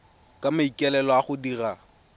ka maikaelelo a go dira